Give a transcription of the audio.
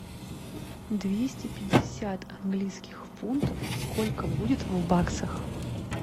двести пятьдесят английских фунтов сколько будет в баксах